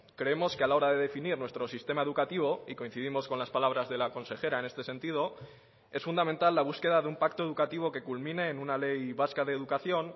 creemos que a la hora de definir nuestro sistema educativo y coincidimos con las palabras de la consejera en este sentido es fundamental la búsqueda de un pacto educativo que culmine en una ley vasca de educación